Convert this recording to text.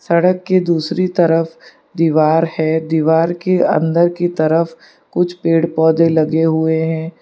सड़क की दूसरी तरफ दीवार है दीवार के अंदर की तरफ कुछ पेड़ पौधे लगे हुए हैं।